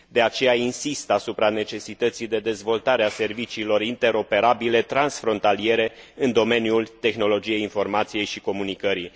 De aceea, insist asupra necesității de dezvoltare a serviciilor interoperabile transfrontaliere în domeniul tehnologiei informației și comunicării.